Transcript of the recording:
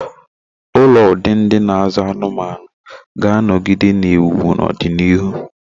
Ụlọ ụdị ndi na azu anumanu ga-anọgide na-ewu ewu na ọdịnihu.